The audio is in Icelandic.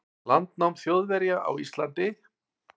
landnám Þjóðverja á Íslandi.